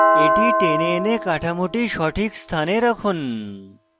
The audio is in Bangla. এটি টেনে এনে কাঠামোটি সঠিক স্থানে রাখুন